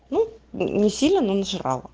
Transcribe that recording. ну не сильно но нажрала